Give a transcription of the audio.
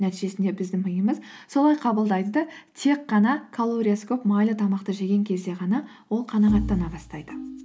нәтижесінде біздің миымыз солай қабылдайды да тек қана колориясы көп майлы тамақты жеген кезде ғана ол қанағаттана бастайды